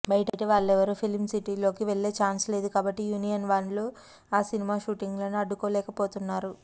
బయట వాళ్లెవరూ ఫిల్మ్ సిటీలోకి వెళ్లే ఛాన్సు లేదు కాబట్టి యూనియన్వాళ్లు ఆ సినిమా షూటింగ్లను అడ్డుకోలేకపోతున్నారు